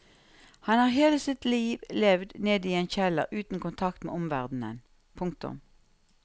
Han har hele sitt liv levd nede i en kjeller uten kontakt med omverdenen. punktum